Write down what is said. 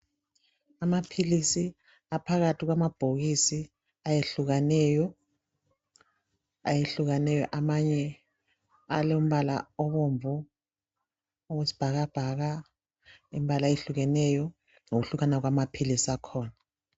Amaphilisi aphakathi kwamabhokisi ayehlukaneyo ayehlukaneyo amanye alombala obomvu owesibhakabhaka imbala eyehlukeneyo ngokuhlukana kwamaphilisi akhona